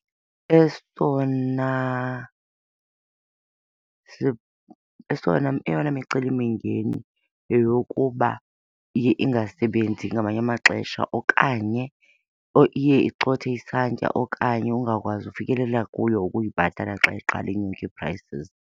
Esona , esona, eyona micelimingeni yeyokuba iye ingasebenzi ngamanye amaxesha okanye iye icothe isantya okanye ungakwazi ukufikelela kuyo ukuyibhatala xa iqala inyuke ii-prices.